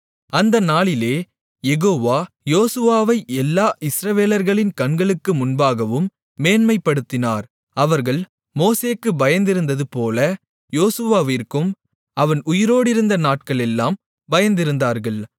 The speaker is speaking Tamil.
அந்த நாளிலே யெகோவா யோசுவாவை எல்லா இஸ்ரவேலர்களின் கண்களுக்கு முன்பாகவும் மேன்மைப்படுத்தினார் அவர்கள் மோசேக்குப் பயந்திருந்ததுபோல யோசுவாவிற்கும் அவன் உயிரோடிருந்த நாட்களெல்லாம் பயந்திருந்தார்கள்